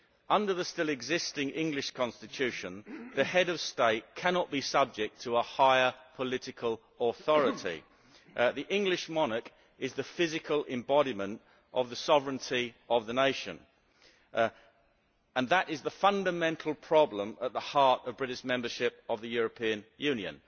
Under the still existing English Constitution, the Head of State cannot be subject to a higher political authority. The English monarch is the physical embodiment of the sovereignty of the nation, and that is the fundamental problem at the heart of British membership of the European Union.